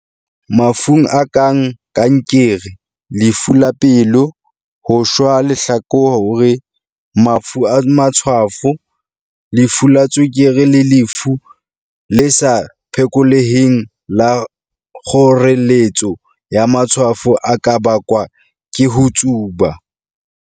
"Mafu a kang kankere, lefu la pelo, ho shwa lehlakore, mafu a matshwafo, lefu la tswekere le lefu le sa phekoleheng la kgoreletso ya matshwafo a ka bakwa ke ho tsuba."